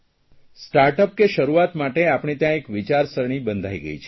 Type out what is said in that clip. startup કે શરૂઆત માટે આપણે ત્યાં એક વિચારસરણી બંધાઇ ગઇ છે